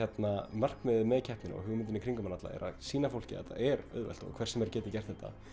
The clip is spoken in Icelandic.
markmiðið með keppninni og hugmyndin í kringum þetta er að sýna fólki að þetta er auðvelt og hver sem er getur gert þetta